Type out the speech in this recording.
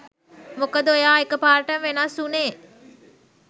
මොකද ඔයා එකපාරට වෙනස් උනෙ